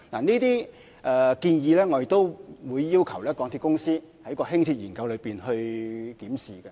這些建議，我們亦會要求港鐵公司在進行輕鐵研究時檢視。